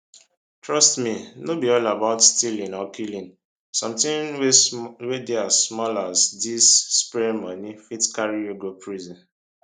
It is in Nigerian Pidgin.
trust me no be all about stealing or killing somtin wey dey as small as dis [spraying money] fit carry you go prison